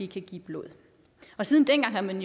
give blod siden dengang har man